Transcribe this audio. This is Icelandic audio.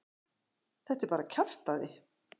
Þetta er bara kjaftæði.